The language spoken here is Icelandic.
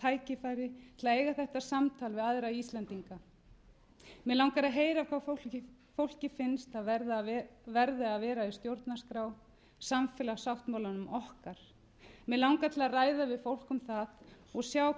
tækifæri til að eiga þetta samtal við aðra íslendinga mig langar að heyra hvað fólki finnst þar verði að vera í stjórnarskrá samfélagssáttmálanum okkar mig langar til að ræða við fólk um það og sjá